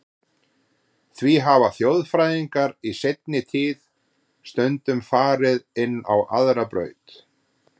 Því hafa þjóðfræðingar í seinni tíð stundum farið inn á aðra braut.